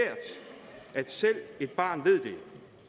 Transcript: at selv et barn ved det